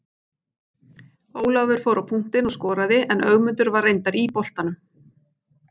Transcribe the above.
Ólafur fór á punktinn og skoraði en Ögmundur var reyndar í boltanum.